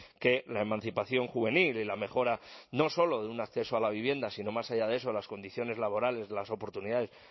que la emancipación juvenil y la mejora no slo de un acceso a la vivienda sino más allá de eso las condiciones laborales las oportunidades